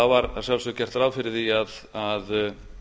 var að sjálfsögðu gert ráð fyrir því að